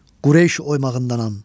Qureyş oymağındanam.